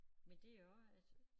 Men det jo også at